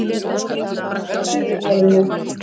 Þar á meðal tungumálinu.